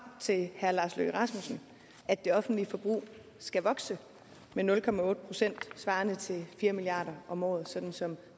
til herre lars løkke rasmussen at det offentlige forbrug skal vokse med nul procent svarende til fire milliard om året sådan som